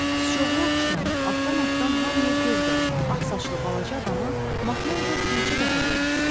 Siçovula oxşayan, altdan-altdan hamıya göz qoyan, ağsaçlı balaca adamı Makmörda bircə dəfə görmüşdü.